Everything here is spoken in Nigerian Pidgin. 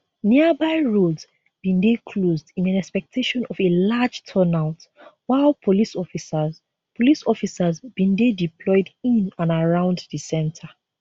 nearby roads bin dey closed in expectation of a large turnout while police officers police officers bin dey deployed in and around di centre